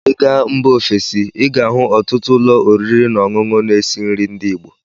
Ị gaa mba ofesi, ị ga-ahụ ọtụtụ ụlọ oriri na ọṅụṅụ na-esi nri ndị igbo.